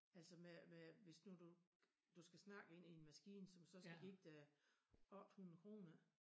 Altså med med hvis nu du du skal snakke ind i en maskine som så skal give dig 800 kroner ik